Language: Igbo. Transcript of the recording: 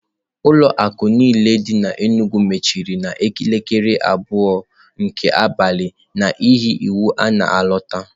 Ụlọ akụ niile dị n'Enugwu mechiri n'elekere abụọ nke abalị n'ihi iwu a na-alọta.